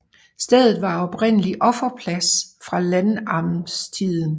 Stedet var oprindelig offerplads fra landnamstiden